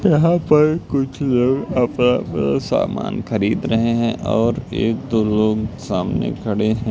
यहां पर कुछ लोग अपना अह सामान खरीद रहे हैं और एक दो लोग सामने खड़े हैं।